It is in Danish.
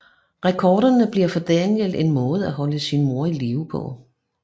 Rekorderne bliver for Daniel en måde at holde sin mor i live på